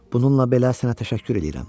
Bununla belə sənə təşəkkür eləyirəm.